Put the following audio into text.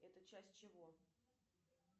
это часть чего